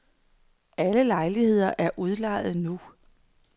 Alle lejligheder er udlejet nu.